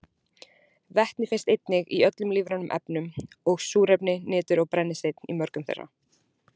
Vetni finnst einnig í öllum lífrænum efnum og súrefni, nitur og brennisteinn í mörgum þeirra.